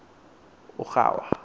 ujwarha